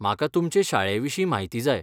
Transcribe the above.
म्हाका तुमचे शाळेविशीं म्हायती जाय.